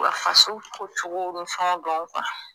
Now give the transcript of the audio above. faso ko cogow ni fɛnw dɔ